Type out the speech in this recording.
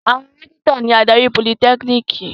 Àwọn rẹ́kítọ̀ ni adarí politẹ́kíníkì.